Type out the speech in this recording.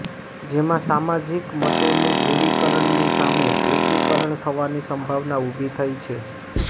જેમાં સામાજિક મતોનું ધ્રુવિકરણની સામે એકીકરણ થવાની સંભાવના ઉભી થઈ છે